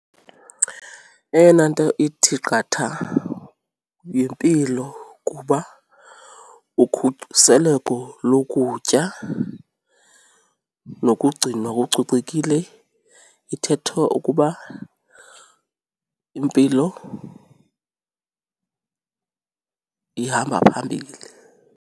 Eyona nto ithi qatha yimpilo kuba ukhuseleko lokutya nokugcinwa kucocekile ithetha ukuba impilo ihamba phambili.